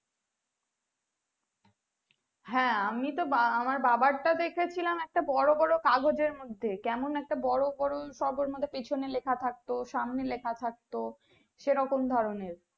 হ্যাঁ আমি তো আমার বাবার টাই দেখে ছিলাম একটা বড়ো বড়ো কাগজের মধ্যে কেমন একটা বড়ো বড়ো সব পিছনে লিখা থাকতো সামনে লিখা থাকতো সেরকম ধরণের